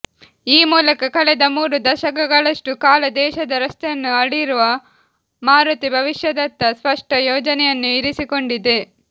ಈ ಮೂಲಕ ಕಳೆದ ಮೂರು ದಶಕಗಳಷ್ಟು ಕಾಲ ದೇಶದ ರಸ್ತೆಯನ್ನು ಆಳಿರುವ ಮಾರುತಿ ಭವಿಷ್ಯದತ್ತ ಸ್ಪಷ್ಟ ಯೋಜನೆಯನ್ನು ಇರಿಸಿಕೊಂಡಿದೆ